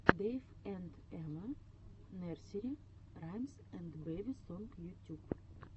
дэйв энд эва нерсери раймс энд бэби сонг ютюб